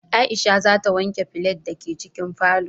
Aisha za ta wanke kafet da ke cikin falo